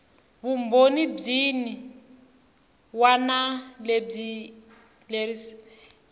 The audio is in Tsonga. vumbhoni byin wana lebyi enerisaku